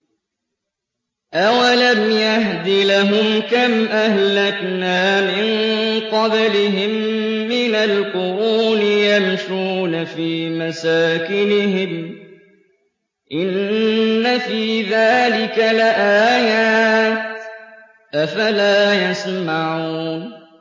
أَوَلَمْ يَهْدِ لَهُمْ كَمْ أَهْلَكْنَا مِن قَبْلِهِم مِّنَ الْقُرُونِ يَمْشُونَ فِي مَسَاكِنِهِمْ ۚ إِنَّ فِي ذَٰلِكَ لَآيَاتٍ ۖ أَفَلَا يَسْمَعُونَ